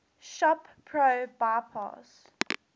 shop pro bypass